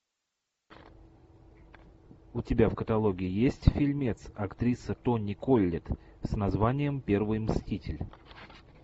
у тебя в каталоге есть фильмец актриса тони коллетт с названием первый мститель